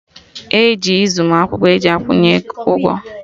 E ji zi mụ akwụkwọ eji akwụnye ụgwọ